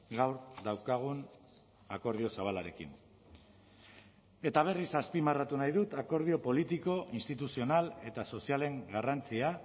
gaur daukagun akordio zabalarekin eta berriz azpimarratu nahi dut akordio politiko instituzional eta sozialen garrantzia